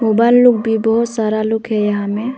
बहोत सारा लुक है यहा में।